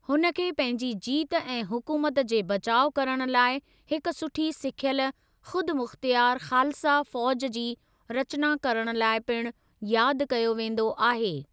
हुन खे पंहिंजी जीत ऐं हुकुमत जे बचाउ करण लाइ हिक सुठी सिखियल, खुदमुख्तियार खालसा फौज जी रचना करण लाइ पिणु याद कयो वेंदो आहे।